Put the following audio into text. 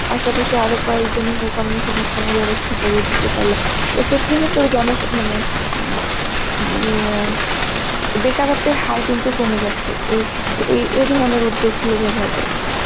পাশাপাশি আরো কয়েকজনের কর্মসংস্থানের ব্যবস্থা করে দিতে পারল এক্ষেত্রে কিন্তু জনো~ মানে উম উম অ্যাঁ বেকারত্বের হার কিন্তু কমে যাচ্ছে এই, এই এই ধরনের উদ্যোগ গুলো ব্যবহার করে